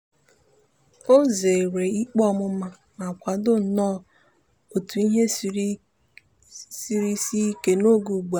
o zeere ikpe ọmụma ma kwado nnọọ etu ihe siri sie ike n'oge ugbu a.